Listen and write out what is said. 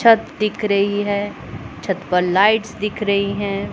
छत दिख रही है छत पर लाइट्स दिख रही हैं।